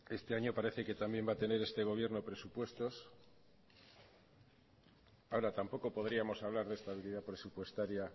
este año parece que también va a tener este gobierno presupuestos ahora tampoco podríamos hablar de estabilidad presupuestaria